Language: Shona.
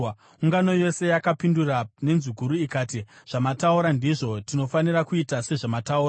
Ungano yose yakapindura nenzwi guru ikati, “Zvamataura ndizvo! Tinofanira kuita sezvamataura.